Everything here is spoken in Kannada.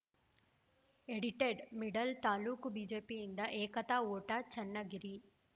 ಎಡಿಟೆಡ್‌ಮಿಡಲ್‌ ತಾಲೂಕು ಬಿಜೆಪಿಯಿಂದ ಏಕತಾ ಓಟ ಚನ್ನಗಿರಿ